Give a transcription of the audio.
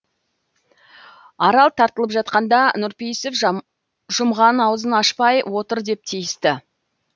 арал тартылып жатқанда нұрпейісов жұмған аузын ашпай отыр деп тиісті